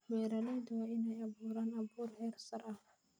Beeraleydu waa in ay abuuraan abuur heersare ah.